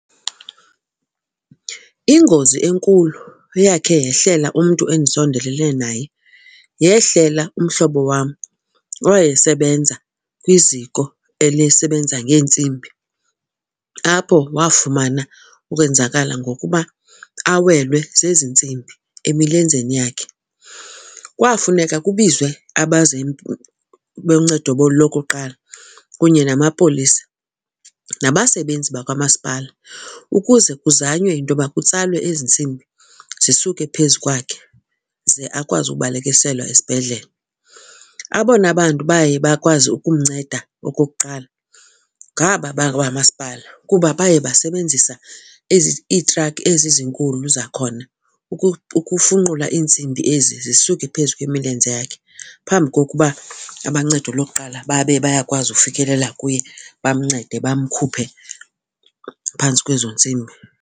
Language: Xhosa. Ingozi enkulu eyakhe yehlela umntu endisondelelene naye yehlela umhlobo wam owayesebenza kwiziko elisebenza ngeentsimbi apho wafumana ukwenzakala ngokuba awelwe zezi ntsimbi emilenzeni yakhe. Kwafuneka kubizwe boncedo bolokuqala kunye namapolisa, nabasebenzi bakwamasipala ukuze kuzanywe intoba kutsalwe ezi ntsimbi zisuke phezu kwakhe, ze akwazi ukubalekiselwa esibhedlele. Abona bantu baye bakwazi ukumnceda, okokuqala, ngaba bakwamasipala kuba baye basebenzisa ezi, iitrakhi ezi zinkulu zakhona ukufunqula iintsimbi ezi zisuke phezu kwemilenze yakhe phambi kokuba aboncedo lokuqala babe bayakwazi ukufikelela kuye, bamncede, bamkhuphe phantsi kwezo ntsimbi.